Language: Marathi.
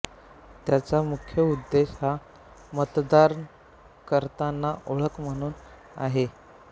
त्याचा मुख्य उद्देश हा मतदान करतांना ओळख म्हणून आहे